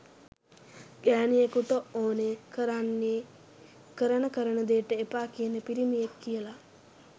ගෑනියෙකුට ඕනෙ කරන්නෙ කරන කරන දේට එපා කියන පිරිමියෙක් කියලා.